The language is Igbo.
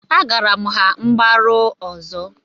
Agaara m ha mgbaru ọzọ